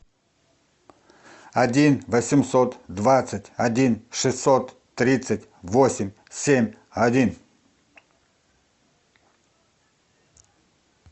один восемьсот двадцать один шестьсот тридцать восемь семь один